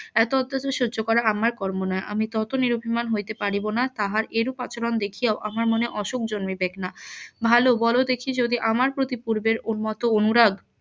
এত অত্যাচার সহ্য করা আমার কর্ম না আমি তত নিরভিমান হইতে পারিব না তাহার এরূপ আচরণ দেখিয়াও আমার মনে অসুখ জন্মিবেক না ভালো বলো দেখি যদি আমার প্রতি পূর্বের উন্মত্ত অনুরাগ